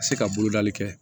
Ka se ka bolodali kɛ